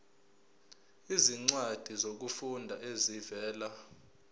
izincwadi zokufunda ezivela